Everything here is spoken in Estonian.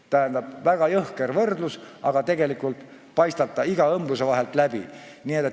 Tähendab, väga jõhker võrdlus, aga see paistab iga õmbluse vahelt läbi.